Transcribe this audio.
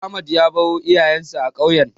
Ahmed ya baro iyayensa a ƙauyen.